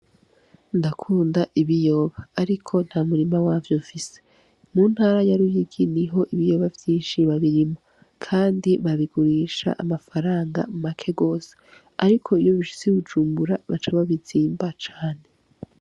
Ndakunda ibiyoba ariko nta murima wavyo nfise, mu ntara ya Ruyigi niho ibiyoba vyinshi babirima, kandi babigurisha amafaranga make gose, ariko iyo bishitse i Bujumbura baca babizimba cane.